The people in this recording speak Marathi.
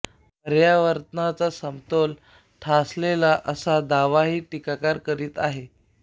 पर्यावरणाचा समतोल ढासळेल असा दावाही टिकाकार करीत आहेत